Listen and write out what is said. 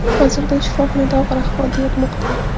Hozirda u shifoxonada og‘ir ahvolda yotmoqda.